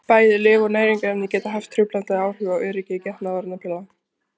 bæði lyf og næringarefni geta haft truflandi áhrif á öryggi getnaðarvarnarpilla